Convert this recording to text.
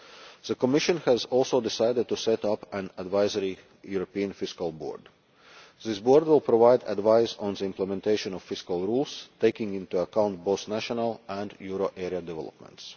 The Commission has also decided to set up an Advisory European Fiscal Board. This board will provide advice on the implementation of fiscal rules, taking into account both national and euro area developments.